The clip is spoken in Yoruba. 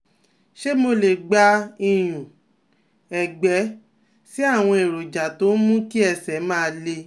Ṣé mo lè gba ìyún-ẹ̀gbẹ́ sí àwọn èròjà tó ń mú kí ẹsẹ̀ máa le?